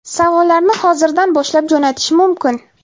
Savollarni hozirdan boshlab jo‘natish mumkin.